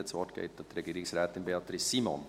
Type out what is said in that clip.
Das Wort geht an Regierungsrätin Beatrice Simon.